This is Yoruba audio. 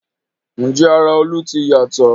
Ǹjẹ́ ara Olú ti yàtọ̀?